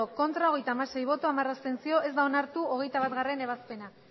bai hogeita hamasei ez hamar abstentzio ez da onartu hogeita batgarrena ebazpena